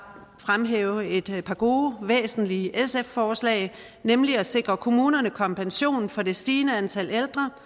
fremhæve et par gode væsentlige sf forslag nemlig at sikre kommunerne kompensation for det stigende antal ældre